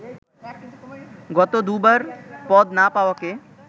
গত দুবার পদ না পাওয়াকে